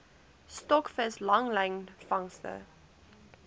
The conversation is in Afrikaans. stokvis langlyn vangste